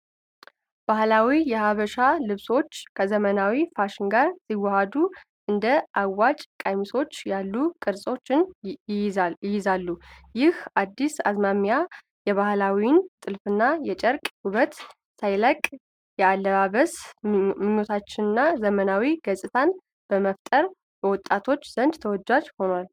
ባህላዊ የሐበሻ ልብሶች ከዘመናዊ ፋሽን ጋር ሲዋሃዱ፣ እንደ አጭር ቀሚሶች ያሉ ቅርጾችን ይይዛሉ። ይህ አዲስ አዝማሚያ የባህላዊውን ጥልፍና የጨርቅ ውበት ሳይለቅ፣ የአለባበስ ምቾትንና ዘመናዊ ገጽታን በመፍጠር በወጣቶች ዘንድ ተወዳጅ ሆኗ